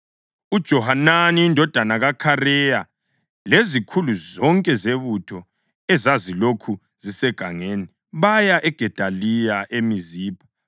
UJohanani indodana kaKhareya lezikhulu zonke zebutho ezazilokhu zisegangeni, baya kuGedaliya eMizipha